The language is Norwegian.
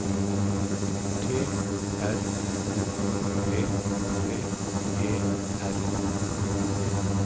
T R O P P E R